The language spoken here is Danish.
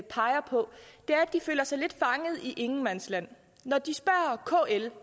peger på er at de føler sig lidt fanget i ingenmandsland når de spørger kl er